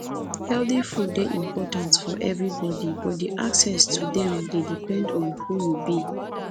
healthy food dey important for everybody but di access to dem dey depend on who you be